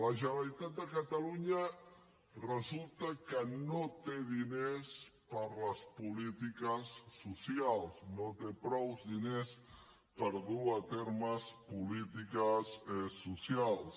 la generalitat de catalunya resulta que no té diners per a les polítiques socials no té prou diners per dur a terme polítiques socials